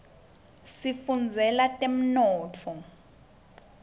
ngifundzela temnotfo